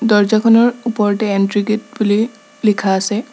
দৰ্জাখনৰ ওপৰতে entry gate বুলি লিখা আছে।